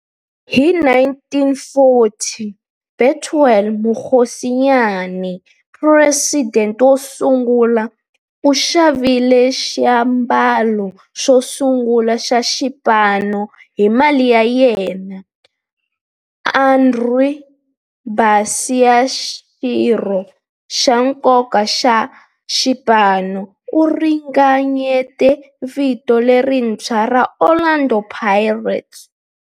Hi 1940, Bethuel Mokgosinyane, president wosungula, u xavile xiambalo xosungula xa xipano hi mali ya yena. Andrew Bassie, xirho xa nkoka xa xipano, u ringanyete vito lerintshwa ra 'Orlando Pirates'.